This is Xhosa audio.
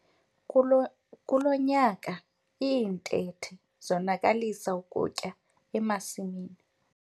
Kulo nyaka iintethe zonakalisa ukutya emasimini.